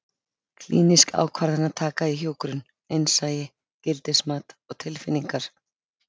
Klínísk ákvarðanataka í hjúkrun: Innsæi, gildismat og tilfinningar.